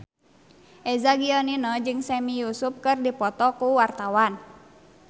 Eza Gionino jeung Sami Yusuf keur dipoto ku wartawan